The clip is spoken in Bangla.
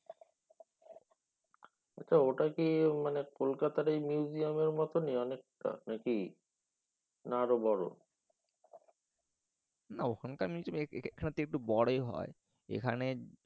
ত ওটা কি মানে কলকাতার এই museum এর মতনই অনেকটা নাকি? না আরও বড়। না ওখানকার মিউজিয়ম এখানের হেকে একটু বড় হয় এখানে।